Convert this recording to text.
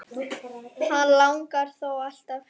Hann langar þó alltaf heim.